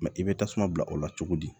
i bɛ tasuma bila o la cogo di